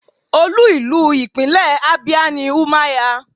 Olú ìlú ìpínlẹ̀ Abia ni Umuahia.